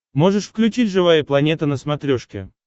можешь включить живая планета на смотрешке